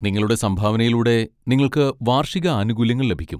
നിങ്ങളുടെ സംഭാവനയിലൂടെ നിങ്ങൾക്ക് വാർഷിക ആനുകൂല്യങ്ങൾ ലഭിക്കും.